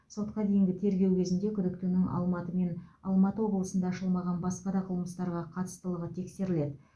сотқа дейінгі тергеу кезінде күдіктінің алматы мен алматы облысында ашылмаған басқа да қылмыстарға қатыстылығы тексеріледі